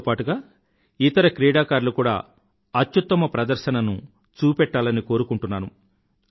దానితో పాటుగా ఇతర క్రీడాకారులు కూడా అత్యుత్తమ ప్రదర్శనను చూపెట్టాలను కోరుకుంటున్నాను